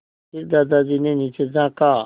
फिर दादाजी ने नीचे झाँका